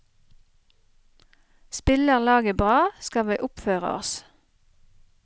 Spiller laget bra, skal vi oppføre oss.